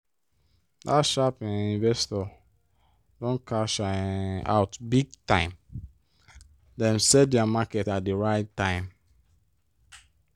dat sharp um investor don cash um out big time! dem sell dia market at di right time.